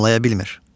Anlaya bilmir.